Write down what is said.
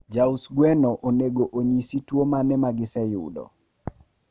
Jaus gweno onego onyisi tuo mane magiseyudo